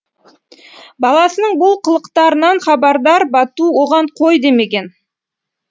баласының бұл қылықтарынан хабардар бату оған қой демеген